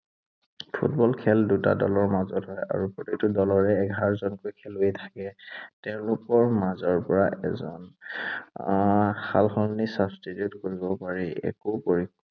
Football খেল দুটা দলৰ মাজত হয় আৰু প্ৰতিটো দলতেই এঘাৰজনকৈ খেলুৱৈ থাকে। তেওঁলোকৰ মাজৰ পৰা এজন আহ সালসলনি substitute কৰিব পাৰি। একো কৰি